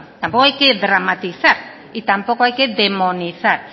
tampoco hay que dramatizar y tampoco hay que demonizar